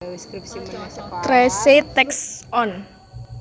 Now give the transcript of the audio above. Tracey Takes On